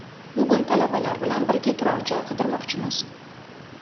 Bugun talabalar bilan birga turar joy qidirmoqchimiz.